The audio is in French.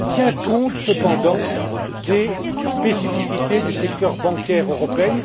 Il tient compte, cependant, des spécificités du secteur bancaire européen.